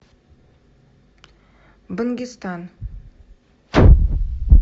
бангистан